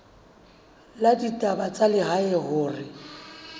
la ditaba tsa lehae hore